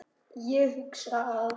Ég hugsa að